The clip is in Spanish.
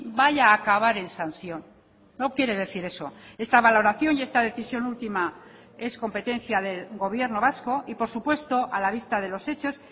vaya a acabar en sanción no quiere decir eso esta valoración y esta decisión última es competencia del gobierno vasco y por supuesto a la vista de los hechos